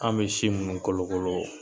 An bɛ si minnu kolokolo